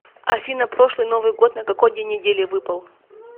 афина прошлый новый год на какой день недели выпал